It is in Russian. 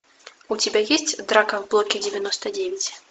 у тебя есть драка в блоке девяносто девять